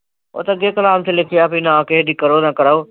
ਉਹ ਤੇ ਅੱਗੇ ਕੁਰਾਨ ਚ ਲਿਖਿਆ ਨਾ ਕਿਹੇ ਦੀ ਕਰੋ ਨਾ ਕਰਾਓ।